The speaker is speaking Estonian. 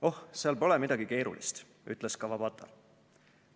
"Oh, seal pole midagi keerulist," ütles Kawabata.